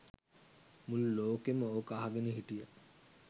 මුළු ලෝකෙම ඕක අහගෙන හිටිය